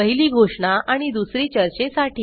पहिली घोषणा आणि दुसरी चर्चेसाठी